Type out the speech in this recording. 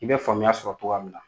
I bɛ faamuya sɔrɔ cogoya min na